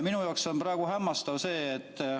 Minu jaoks on see praegu hämmastav.